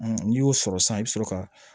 N'i y'o sɔrɔ sisan i bi sɔrɔ ka